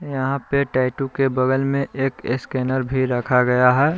यहां पे टैटू के बगल में एक स्कैनर भी रखा गया है।